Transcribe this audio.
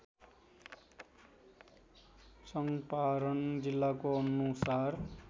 चङ्पारण जिल्लाको अनुसार